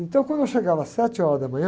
Então, quando eu chegava às sete horas da manhã,